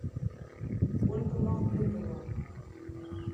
ольга махмутова